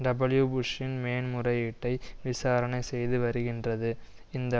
டபிள்யூபுஷ்சின் மேன்முறையீட்டை விசாரணை செய்துவருகின்றது இந்த